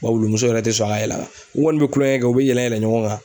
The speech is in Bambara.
Wa wulu muso yɛrɛ tɛ sɔn a ka yɛlɛ a kan u kɔni bɛ kulonkɛ kɛ u bɛ yɛlɛ yɛlɛ ɲɔgɔn kan.